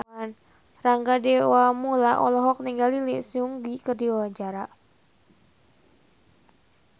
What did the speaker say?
Rangga Dewamoela olohok ningali Lee Seung Gi keur diwawancara